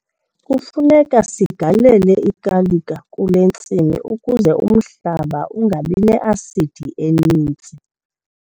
Kufuneka sigalele igalika kule ntsimi ukuze umhlaba ungabi ne-asidi eninzi.